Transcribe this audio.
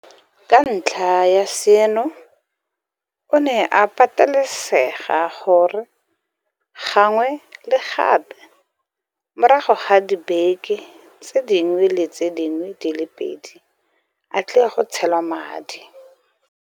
Ka ntlha ya seno, o ne a patelesega gore gangwe le gape morago ga dibeke tse dingwe le tse dingwe di le pedi a tle go tshelwa madi.